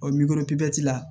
la